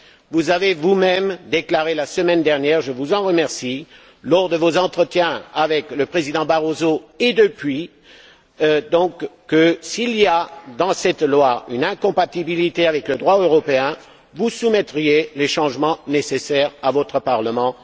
Vous avez vous même déclaré la semaine dernière et je vous en remercie lors de vos entretiens avec le président Barroso, et depuis, que si cette loi était incompatible avec le droit européen, vous soumettriez les changements nécessaires à votre parlement.